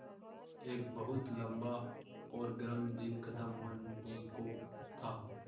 एक बहुत लम्बा और गर्म दिन ख़त्म होने को था